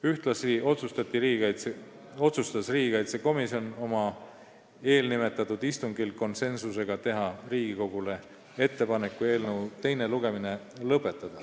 Ühtlasi otsustas komisjon eelnimetatud istungil teha Riigikogule ettepaneku eelnõu teine lugemine lõpetada.